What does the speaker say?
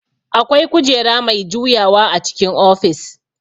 Akwai kujera mai juyawa a cikin ofis